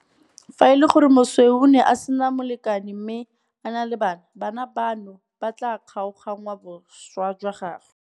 Fa e le gore moswi o ne a sena molekane mme a na le bana, bana bano ba tla kgaoganngwa boswa jwa gagwe.